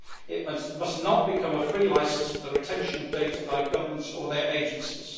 It must not become a free licence for the retention of data by governments or their agencies.